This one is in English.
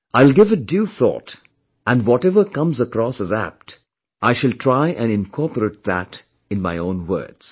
I'll give it due thought and whatever comes across as apt, I shall try and incorporate that in my own words